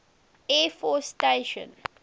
air force station